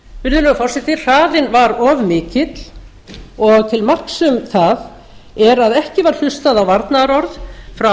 virðulegur forseti hraðinn var of mikill og til marks um það er að ekki var hlustað á varnaðarorð frá